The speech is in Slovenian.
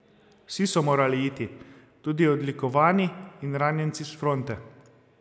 Vsi so morali iti, tudi odlikovani in ranjenci s fronte.